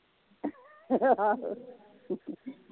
ਆਹੋ